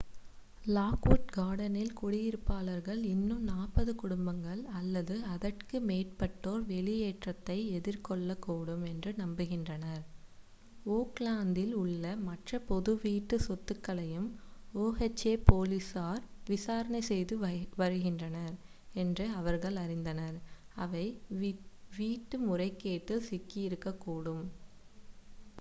Lockwood கார்டன்ஸில் குடியிருப்பாளர்கள் இன்னும் 40 குடும்பங்கள் அல்லது அதற்கு மேற்பட்டோர் வெளியேற்றத்தை எதிர்கொள்ளக்கூடும் என்று நம்புகின்றனர் ஓக்லாந்தில் உள்ள மற்ற பொது வீட்டு சொத்துக்களையும் oha போலீசார் விசாரணை செய்து வருகின்றனர் என்று அவர்கள் அறிந்தனர் அவை வீட்டு முறைகேட்டில் சிக்கியிருக்கக்கூடும்